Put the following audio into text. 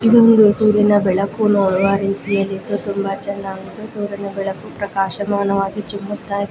ಇದೊಂದು ಸೂರ್ಯನ ಬೆಳಕು ನೋಡುವ ರೀತಿಯಲ್ಲಿತ್ತು ತುಂಬಾ ಚೆನ್ನಾಗಿ ಸೂರ್ಯನ ಬೆಳಕು ಪ್ರಕಶಮಾನವಗಿ ಚಿಮ್ಮುತ್ತಾ ಇತ್ತು .